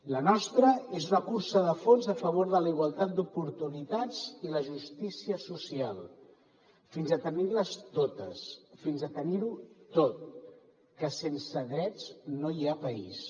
la nostra és una cursa de fons a favor de la igualtat d’oportunitats i la justícia social fins a tenir les totes fins a tenir ho tot que sense drets no hi ha país